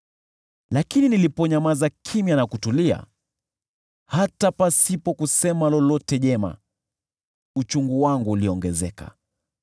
Lakini niliponyamaza kimya na kutulia, hata pasipo kusema lolote jema, uchungu wangu uliongezeka.